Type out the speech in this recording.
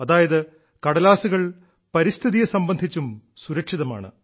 അതായത് കടലാസുകൾ പരിസ്ഥിതിയെ സംബന്ധിച്ചും സുരക്ഷിതമാണ്